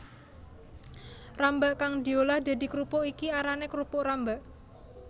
Rambak kang diolah dadi krupuk iki arané krupuk rambak